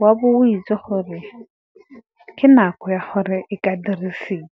o a bo o itse gore ke nako ya gore e ka dirisiwa.